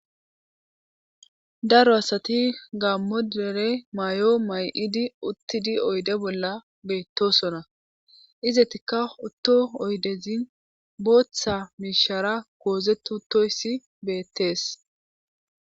daro asati gammodere may7o may7idi uttidi oyde bolla beettosona izetikka otto oydezin booththa miishara goozetutoysi beettees